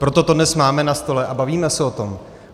Proto to dnes máme na stole a bavíme se o tom.